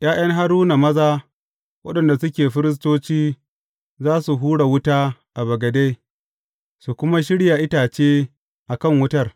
’Ya’yan Haruna maza waɗanda suke firistoci za su hura wuta a bagade, su kuma shirya itace a kan wutar.